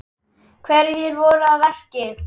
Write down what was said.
Hverjir voru að verki?